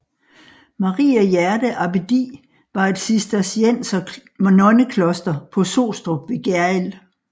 Maria Hjerte Abbedi var et cisterciensernonnekloster på Sostrup ved Gjerrild